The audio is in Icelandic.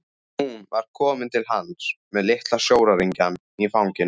Hún var komin til hans með litla sjóræningjann í fanginu.